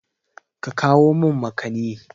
Ka kawo min makani!